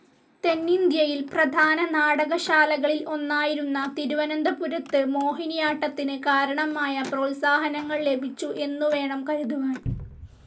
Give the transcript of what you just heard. തെന്നിന്ത്യയിൽ പ്രധാന നാടകശാലകളിൽ ഒന്നായിരുന്ന തിരുവനന്തപുരത്ത് മോഹിനിയാട്ടത്തിന് കാരണമായ പ്രോത്സാഹനങ്ങൾ ലഭിച്ചു എന്നുവേണം കരുതുവാൻ.